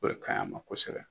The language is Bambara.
O de ka ɲi a ma kosɛbɛ